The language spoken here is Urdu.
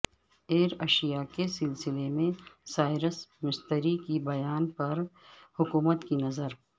ایئر ایشیا کے سلسلے میں سائرس مستری کے بیان پر حکومت کی نظر